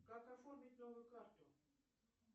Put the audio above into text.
как оформить новую карту